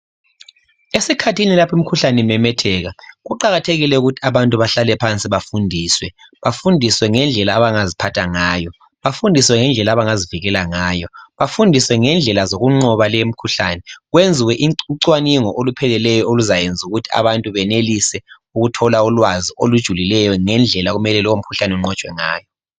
Esikhathini lapha imikhuhlane imemetheka, kuqakathekile ukuthi abantu bahlale phansi bafundiswe ngendlela abangaziphatha ngayo, abangazivikela ngayo, langezindlela zokunqoba leyo mikhuhlane, besokusenziwa ucwaningo olupheleleyo oluzayenza ukuthi abantu benelise ukuthola ulwazi olujulileyo ngendlela okumele lo mkhuhlane unqotshwe ngayo.